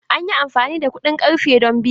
An yi amfani da kuɗin ƙarfe don biya.